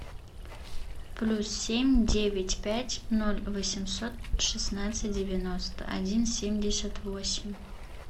плюс семь девять пять ноль восемьсот шестнадцать девяносто один семьдесят восемь